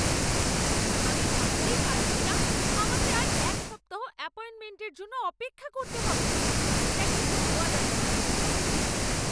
আমি ভাবতেই পারছি না আমাকে আর এক সপ্তাহ অ্যাপয়েন্টমেন্টের জন্য অপেক্ষা করতে হবে। এটা কিন্তু নেওয়া যাচ্ছে না!